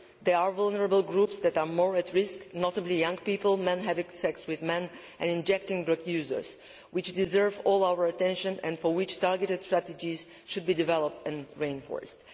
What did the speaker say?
Yes, there are vulnerable groups that are more at risk, notably young people, men who have sex with men, and injecting drug users, which deserve all our attention and for which targeted strategies should be developed and reinforced.